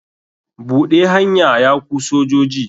Buɗe hanya ya ku sojoji.